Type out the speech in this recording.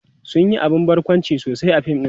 sun Yi abun barkwanci sosai a fim ɗin